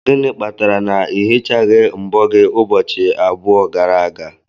Gịnị kpatara na ị hichaghị mbọ gị ụbọchị abụọ gara aga?